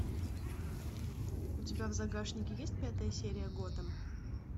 у тебя в загашнике есть пятая серия готэм